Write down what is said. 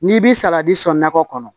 N'i bi salati sɔn nakɔ kɔnɔ